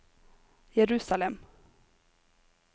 Jerusalem